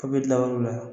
K'a bɛ kila o la